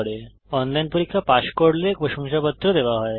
যারা অনলাইন পরীক্ষা পাস করে তাদের প্রশংসাপত্র দেওয়া হয়